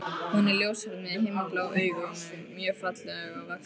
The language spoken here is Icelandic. Hún er ljóshærð með himinblá augu og mjög fallega vaxin.